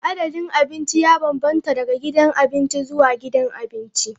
Adadin abinci ya bambanta daga gidan abinci zuwa gidan abinci.